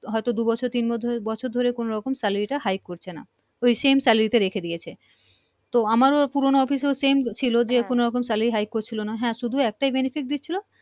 হয় তো দু বছর তিন বছর ধরে কোন রকম salary টা high করছে না তো same salary টা রেখে দিয়েছে তো আমারও পুরোন office same ছিলো যে কোন রকম high করছিলো না হ্যা শুধু একটাই Benefit দিছিলো